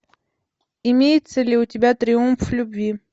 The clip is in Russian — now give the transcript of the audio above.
имеется ли у тебя триумф любви